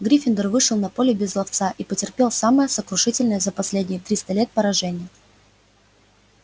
гриффиндор вышел на поле без ловца и потерпел самое сокрушительное за последние триста лет поражение